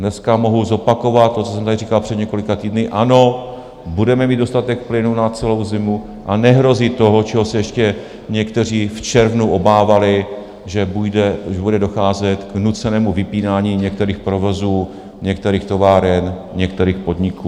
Dneska mohu zopakovat to, co jsem tady říkal před několika týdny: Ano, budeme mít dostatek plynu na celou zimu a nehrozí to, čeho se ještě někteří v červnu obávali, že bude docházet k nucenému vypínání některých provozů, některých továren, některých podniků.